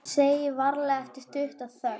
Segi varlega eftir stutta þögn